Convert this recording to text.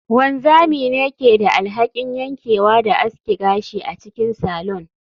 Wanzami ne ke da alhakin yankewa da aske gashi a cikin salon